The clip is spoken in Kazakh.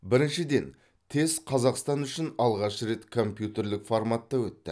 біріншіден тест қазақстан үшін алғаш рет компьютерлік форматта өтті